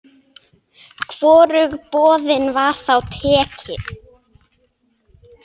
Hvorugu boðinu var þá tekið.